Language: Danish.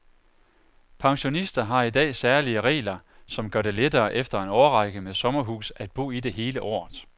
Pensionister har i dag særlige regler, som gør det lettere efter en årrække med sommerhus at bo i det hele året.